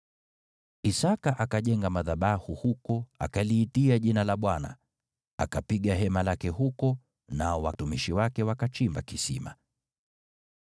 Isaki akajenga madhabahu huko, akaliitia jina la Bwana . Akapiga hema lake huko, nao watumishi wake wakachimba kisima.